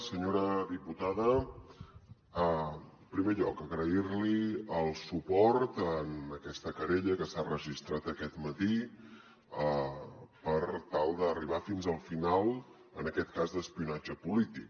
senyora diputada en primer lloc agrair li el suport en aquesta querella que s’ha registrat aquest matí per tal d’arribar fins al final en aquest cas d’espionatge polític